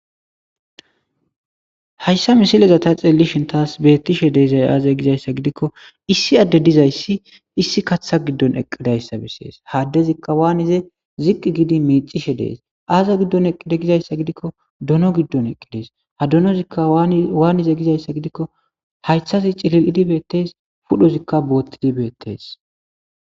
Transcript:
hayssa misileza ta xeelishin taas beettishe deezay aaze gizayssa gidikko issi adde dizayssi issi kaththa giddon eqqidayssa bessees haaddezikka waanize ziqqi giidi miicishe dees aaze giddon eqqide gizayssa gidikko dono giddon eqqidees ha donozikka waanize gizayssa gidikko haythazi cilil'idi beettees pudhozikka boottidi beettees